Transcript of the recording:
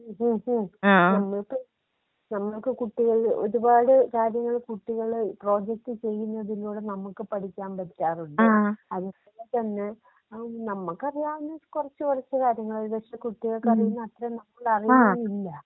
*Not ക്ലിയർ* നമുക്ക് നമുക്ക് കുട്ടികള് ഒരുപാട് കാര്യങ്ങള് കുട്ടികള് പ്രൊജക്റ്റ് ചെയ്യുന്നതിലൂടെ നമുക്ക് പഠിക്കാൻ പറ്റാറുണ്ട് അതുപോലെതന്നെ നമ്മക്കറിയാവുന്ന കൊറച്ചു കൊറച്ചു കാര്യങ്ങള് ജസ്റ് കുട്ടികൾക്കറിയുന്നത്ര നമ്മളറിയാറില്ല.